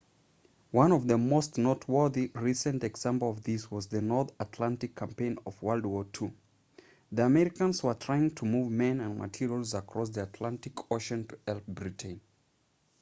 one of the most noteworthy recent examples of this was the north atlantic campaign of wwii the americans were trying to move men and materials across the atlantic ocean to help britain